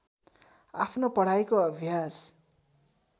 आफ्नो पढाइको अभ्यास